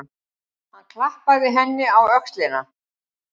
Hann klappaði henni á öxlina.